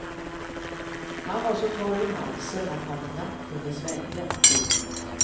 Han var så torr i halsen att han knappt kunde svälja. punkt